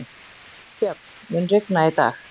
Sjöfn, mun rigna í dag?